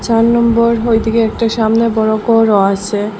চার নম্বর ওইদিকে একটা সামনে বড় ঘরও আসে।